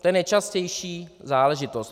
To je nejčastější záležitost.